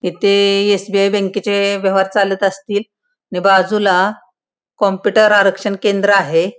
इथे एस.बी.आय. बँकेचे व्यवहार चालत असतील आणि बाजूला कॉम्पुटर आरक्षण केंद्र आहे.